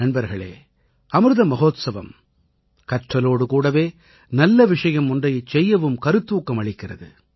நண்பர்களே அமிர்த மஹோத்சவம் கற்றலோடு கூடவே நல்ல விஷயம் ஒன்றைச் செய்யவும் கருத்தூக்கம் அளிக்கிறது